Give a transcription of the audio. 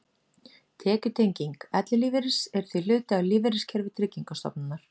Tekjutenging ellilífeyris er því hluti af lífeyriskerfi Tryggingarstofnunar.